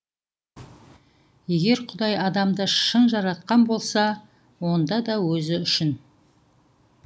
егер құдай адамды шын жаратқан болса онда да өзі үшін